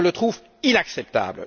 Je le trouve inacceptable.